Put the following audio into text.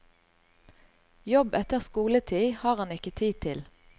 Jobb etter skoletid har han ikke tid til.